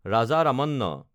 Raja Ramanna